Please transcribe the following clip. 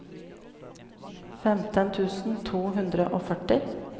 femten tusen to hundre og førti